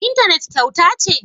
Intanet kyauta ce?